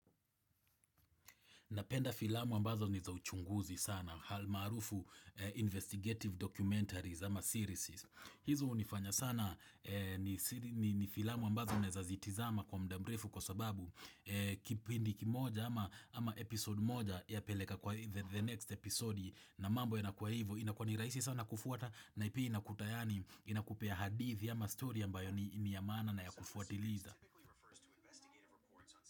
Napenda filamu ambazo ni za uchunguzi sana. Halmaarufu investigative documentaries ama series. Hizo hunifanya sana ni siri ni filamu ambazo unaeza zitizama kwa muda mrefu kwa sababu. Kipindi kimoja ama episode moja yapeleka kwa the next episode na mambo yanakuwa hivo. Inakuwa ni rahisi sana kufuata na pia inakupa yani inakupea hadithi ama stori ambayo ni ya maana na ya kufuatiliza.